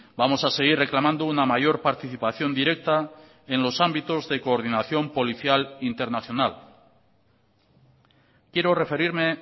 vamos a seguir reclamando una mayor participación directa en los ámbitos de coordinación policial internacional quiero referirme